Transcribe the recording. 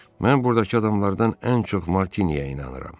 Mən burdakı adamlardan ən çox Martininə inanıram.